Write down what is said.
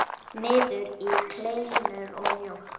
Niður í kleinur og mjólk.